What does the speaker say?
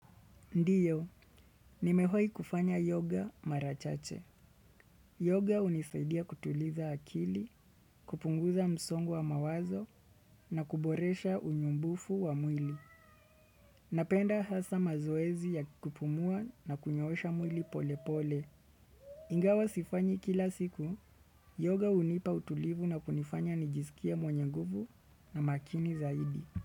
Ndiyo, nimewahi kufanya yoga mara chache. Yoga hunisaidia kutuliza akili, kupunguza msongo wa mawazo na kuboresha unyumbufu wa mwili. Napenda hasa mazoezi ya kupumua na kunyoosha mwili pole pole. Ingawa sifanyi kila siku, yoga hunipa utulivu na kunifanya nijisikie mwenye nguvu na makini zaidi.